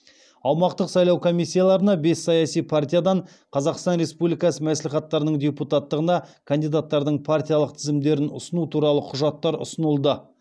аумақтық сайлау комиссияларына бес саяси партиядан қазақстан республикасы мәслихаттарының депутаттығына кандидаттардың партиялық тізімдерін ұсыну туралы құжаттар ұсынылды